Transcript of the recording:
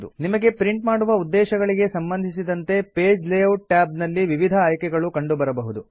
ನಿಮಗೆ ಪ್ರಿಂಟ್ ಮಾಡುವ ಉದ್ದೇಶಗಳಿಗೆ ಸಂಬಂಧಿಸಿದಂತೆ ಪೇಜ್ ಲೇ ಔಟ್ ಟ್ಯಾಬ್ ನಲ್ಲಿ ವಿವಿಧ ಆಯ್ಕೆ ಗಳು ಕಂಡುಬರಬಹುದು